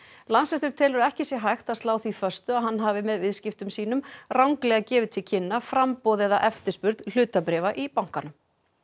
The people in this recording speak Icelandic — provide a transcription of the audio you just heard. Landsréttur telur að ekki sé hægt að slá því föstu að hann hafi með viðskiptum sínum ranglega gefið til kynna framboð eða eftirspurn hlutabréfa í bankanum